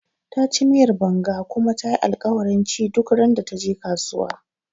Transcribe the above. Taci miyar Banga kuma tayi alkawarin ci duk randa taje kasuwa